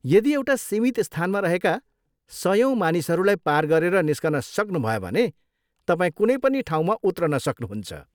यदि एउटा सीमित स्थानमा रहेका सयौँ मानिसहरूलाई पार गरेर निस्कन सक्नुभयो भने तपाईँ कुनै पनि ठाउँमा उत्रन सक्नुहुन्छ।